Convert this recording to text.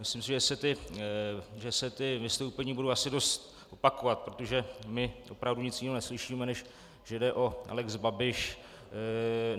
Myslím si, že se ta vystoupení budou asi dost opakovat, protože my opravdu nic jiného neslyšíme, než že jde o lex Babiš.